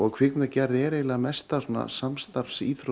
kvikmyndagerð er eiginlega mesta